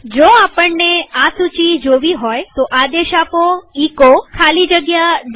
જો આપણને આ સૂચી જોવી હોયતો આદેશ આપો એચો ખાલી જગ્યા PATH